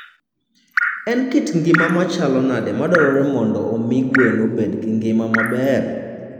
En kit ngima machalo nade madwarore mondo omi gwen obed gi ngima maber?